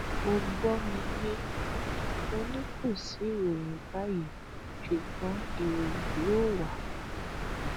ó gbọ mi yé mo ní kò sí ìròyìn báyìí ṣùgbọn ìròyìn yóò wà